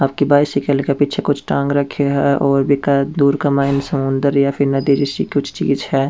आपके बाइसिकल के पीछे कुछ टाँग रखयो है और बीके दूर का मायने समुन्दर या फिर नदी जैसी कुछ चीज है।